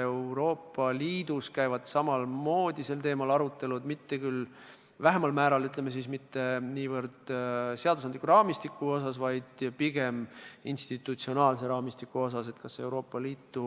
Euroopa Liidus käivad samamoodi sel teemal arutelud, aga mitte niivõrd seadusandliku raamistiku osas, vaid pigem institutsionaalse raamistiku osas, et kas luua Euroopa Liitu